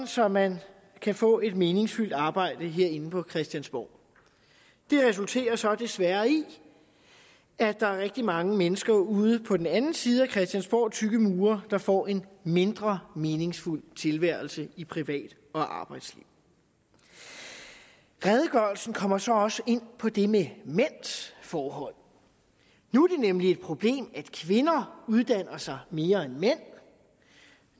så man kan få et meningsfyldt arbejde herinde på christiansborg det resulterer så desværre i at der er rigtig mange mennesker ude på den anden side af christiansborgs tykke mure der får en mindre meningsfuld tilværelse i privat og arbejdsliv redegørelsen kommer så også ind på det med mænds forhold nu er det nemlig et problem at kvinder uddanner sig mere end mænd